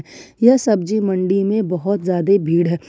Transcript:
यह सब्जी मंडी में बहोत ज्यादे भीड़ है।